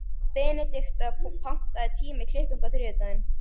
Benedikta, pantaðu tíma í klippingu á þriðjudaginn.